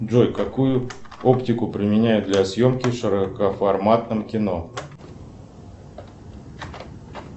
джой какую оптику применяют для съемки в широкоформатном кино